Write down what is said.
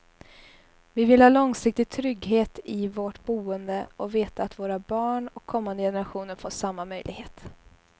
Vi vill ha långsiktig trygghet i vårt boende och veta att våra barn och kommande generationer får samma möjlighet.